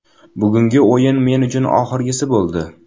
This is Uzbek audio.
Bugungi o‘yin men uchun oxirgisi bo‘ldi.